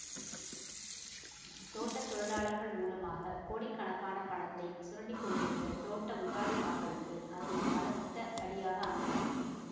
தோட்ட தொழிலாளர்கள் மூலமாகக் கோடிக்கணக்கான பணத்தைச் சுரண்டி கொண்டிருந்த தோட்ட முதலாளிமார்களுக்கு அது பலத்த அடியாக அமைந்தது